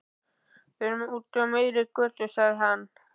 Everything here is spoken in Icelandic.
Við erum úti á miðri götu, sagði hann.